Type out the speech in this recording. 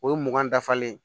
O ye mugan dafalen ye